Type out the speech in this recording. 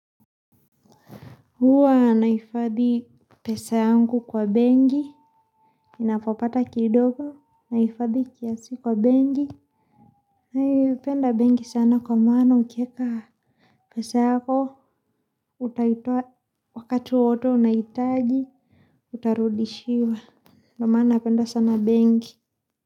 Huwa nahifadhi pesa yangu kwa bengi, inapopata kidogo, naifadhi kiasi kwa bengi. Mi hupenda benki sana kwa maana ukiweka pesa yako utaitoa wakati wowote unaitaji, utarudishiwa. Ndio maana napenda sana bengi.